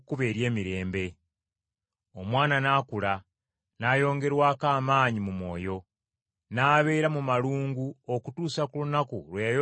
Omwana n’akula n’ayongerwako amaanyi mu mwoyo, n’abeera mu malungu okutuusa ku lunaku lwe yayolesebwa eri Isirayiri.